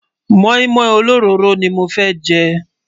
móin móin ólórọrò ní mọ fẹ jé